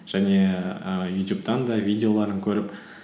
және ііі ютюбтан да видеоларын көріп